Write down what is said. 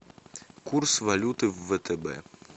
курс валюты в втб